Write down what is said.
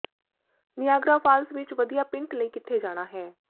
Niagara Falls ਵਿੱਚ ਵਧੀਆ ਪਿੰਟ ਲਈ ਕਿੱਥੇ ਜਾਣਾ ਹੈ